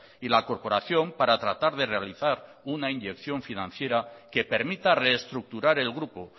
y la corporación para tratar de realizar una inyección financiera que permita reestructurar el grupo